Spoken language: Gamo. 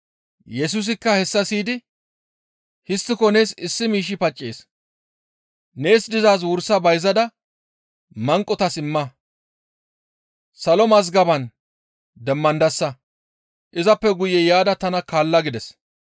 Yesusikka hessa siyidi, «Histtiko nees issi miishshi paccees; nees dizaaz wursa bayzada manqotas imma; salo mazgaban demmandasa; izappe guye yaada tana kaalla» gides.